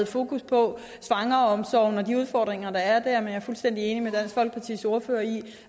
fokus på svangreomsorgen og de udfordringer der er jeg er fuldstændig enig med dansk folkepartis ordfører i